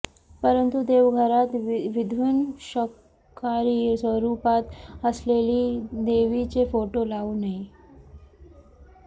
परंतू देवघरात विध्वंशकारी स्वरूपात असलेली देवीचे फोटो लावू नये